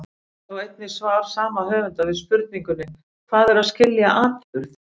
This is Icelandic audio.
Sjá einnig svar sama höfundar við spurningunni Hvað er að skilja atburð?